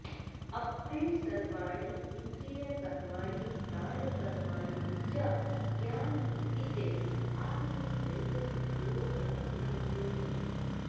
अपरे सर्वाणि इन्द्रियकर्माणि प्राणकर्माणि च ज्ञानदीपिते आत्मसंयमयोगाग्नौ जुह्वति